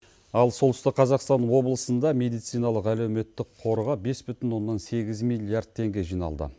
ал солтүстік қазақстан облысында медициналық әлеуметтік қорға бес бүтін оннан сегіз миллиард теңге жиналды